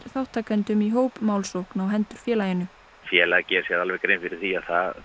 þátttakendum í hópmálsókn á hendur félaginu félagið gerir sér alveg grein fyrir því